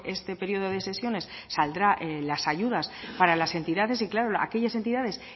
este periodo de sesiones saldrán las ayudas para las entidades y claro aquellas entidades